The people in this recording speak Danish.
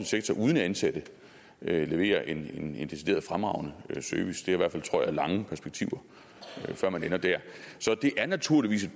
sektor uden ansatte levere en decideret fremragende service det har i hvert fald tror jeg lange perspektiver før man ender dér så det er naturligvis et